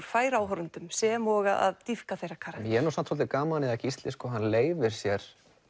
færa áhorfendum sem og að þeirra karakter ég hef nú samt svolítið gaman að að Gísli leyfir sér